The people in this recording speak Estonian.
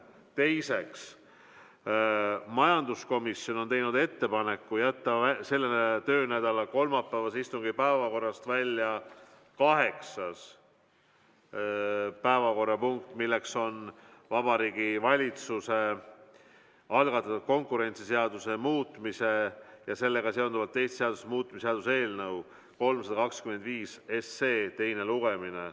Teiseks, majanduskomisjon on teinud ettepaneku jätta selle töönädala kolmapäevase istungi päevakorrast välja kaheksas päevakorrapunkt, milleks on Vabariigi Valitsuse algatatud konkurentsiseaduse muutmise ja sellega seonduvalt teiste seaduste muutmise seaduse eelnõu 325 teine lugemine.